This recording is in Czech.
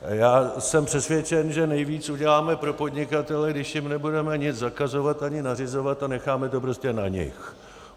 Já jsem přesvědčen, že nejvíc uděláme pro podnikatele, když jim nebudeme nic zakazovat ani nařizovat a necháme to prostě na nich.